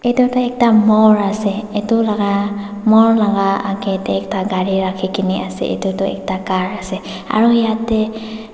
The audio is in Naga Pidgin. edu tu ekta marl ase edu laka morl laka akae tae ekta gari rakhikaena ase edu tu ekta ase aro yatae--